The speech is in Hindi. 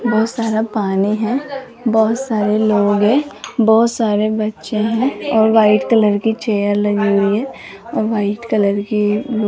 बहुत सारे पानी हैं बहुत सारे लोग हैं बहुत सारे बच्चे हैं और वाइट कलर की चेयर लगी हुई है और वाइट कलर की --